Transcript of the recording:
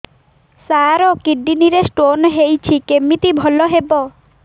ସାର kidney ରେ stone ହେଇଛି କମିତି ଭଲ ହେବ